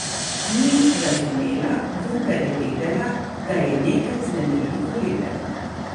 Ni razumela, vendar je vedela, da je nekaj vznemirljivo lepega.